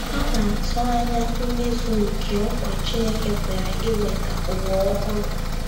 Ha na - atụ anya mmezu nke nkwa Chineke kwere iweta ụwa ọhụrụ.